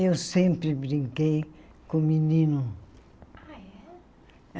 Eu sempre brinquei com menino. Ah é